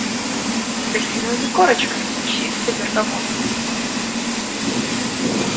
с апельсиновыми корочками чистый бергамот